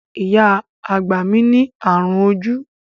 Ìyá àgbà mi ní ààrùn ojú.